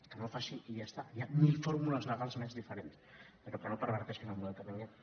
que no en faci i ja està hi ha mil fórmules legals més diferents però que no perverteixin el model que tinguem